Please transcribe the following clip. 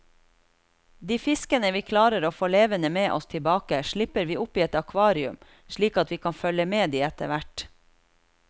De fiskene vi klarer å få levende med oss tilbake slipper vi oppi et akvarium slik at vi kan følge med de etterhvert.